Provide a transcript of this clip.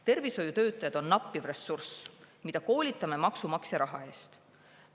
Tervishoiutöötajad on nappiv ressurss, mida koolitame maksumaksja raha eest.